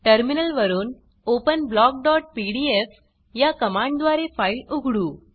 terminal वरुन open blockपीडीएफ या कमांड द्वारे फाइल उघडू